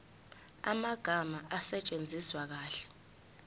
amagama asetshenziswe kahle